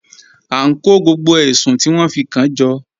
A n kọ gbogbo èṣùn ti wọn fi kan jọ.